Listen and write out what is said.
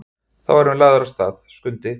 Þá erum við lagðir af stað, Skundi.